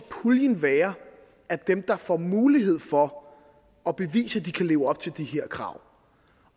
være af dem der får mulighed for at bevise at de kan leve op til de her krav